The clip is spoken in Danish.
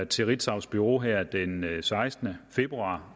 til ritzaus bureau her den sekstende februar